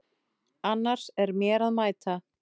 Annars er mér að mæta.